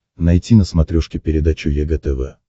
найти на смотрешке передачу егэ тв